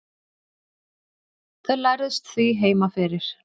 þau lærðust því heima fyrir